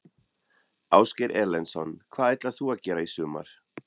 Ásgeir Erlendsson: Hvað ætlar þú að gera í sumar?